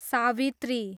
Savitri